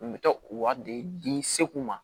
N bɛ taa u wari de di segu ma